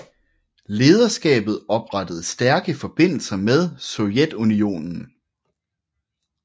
Lederskabet oprettede stærke forbindelser med Sovjetunionen